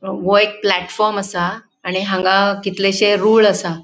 वो एक प्लेटफॉर्म असा. आणि हांगा कितलेशे रूळ असा.